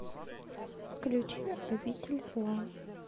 включи обитель зла